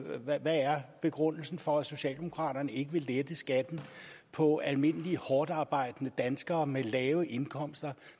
begrundelsen for at socialdemokraterne ikke vil lette skatten for almindelige hårdtarbejdende danskere med lave indkomster